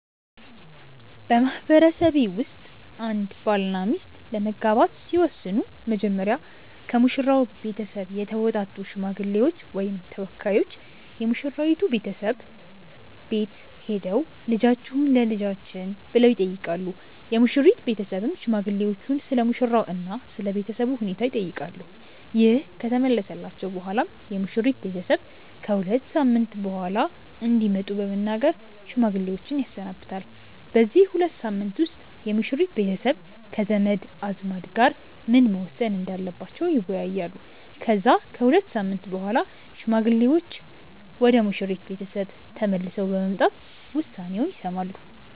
በማህበረሰቤ ውስጥ አንድ ባልና ሚስት ለመጋባት ሲወስኑ መጀመሪያ ከሙሽራው ቤተሰብ የተውጣጡ ሽማግሌዎች ወይም ተወካዮች የሙሽራይቱ ቤተሰብ ቤት ሄደው "ልጃችሁን ለልጃችን" ብለው ይጠይቃሉ። የሙሽሪት ቤተሰብም ሽማግሌዎቹን ስለሙሽራው እና ስለ ቤተሰቡ ሁኔታ ይጠይቃሉ። ይህ ከተመለሰላቸው በኋላም የሙሽሪት ቤተሰብ ከ ሁለት ሳምንት በኋላ እንዲመጡ በመናገር ሽማግሌዎችን ያሰናብታል። በዚህ ሁለት ሳምንት ውስጥ የሙሽሪት ቤተሰብ ከዘመድ አዝማድ ጋር ምን መወሰን እንዳለባቸው ይወያያሉ። ከዛ ከሁለት ሳምንት በኋላ ሽማግሌዎቹ ወደ ሙሽሪት ቤተሰብ ቤት ተመልሰው በመምጣት ውሳኔውን ይሰማሉ።